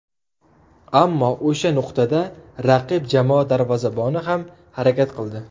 Ammo o‘sha nuqtada raqib jamoa darvozaboni ham harakat qildi.